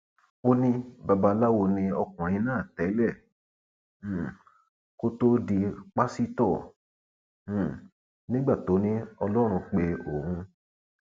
ó ní babaláwo ni ọkùnrin náà tẹlẹ um kó tóó di pásítọ um nígbà tó ní ọlọrun pé òun